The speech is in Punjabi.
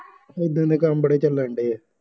ਏਦਾਂ ਦੇ ਕੰਮ ਬੜੇ ਚੱਲਣ ਡੇ ਆ